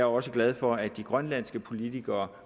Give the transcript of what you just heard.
også glad for at de grønlandske politikere